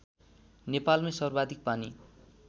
नेपालमै सर्वाधिक पानी